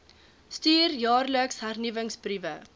stuur jaarliks hernuwingsbriewe